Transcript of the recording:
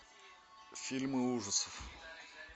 фильмы ужасов